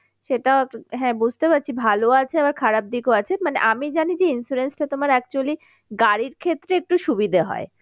সেটা, হ্যাঁ বুঝতে পারছি ভালো আছে আবার খারাপ দিকও আছে মানে আমি জানি যে insurance টা তোমার actually গাড়ির ক্ষেত্রে একটু সুবিধা হয়